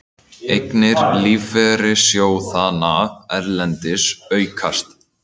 Eignir lífeyrissjóðanna erlendis aukast